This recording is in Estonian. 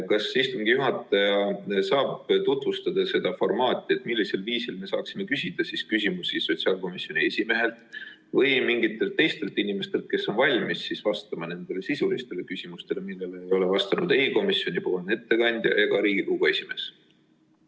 Kas istungi juhataja tutvustaks meile seda formaati, millisel viisil me saame küsida küsimusi sotsiaalkomisjoni esimehelt või mingitelt teistelt inimestelt, kes on valmis vastama nendele sisulistele küsimustele, millele ei ole vastanud ei komisjoni ettekandja ega Riigikogu esimees?